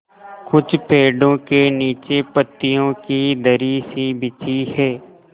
कुछ पेड़ो के नीचे पतियो की दरी सी बिछी है